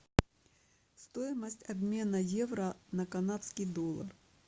стоимость обмена евро на канадский доллар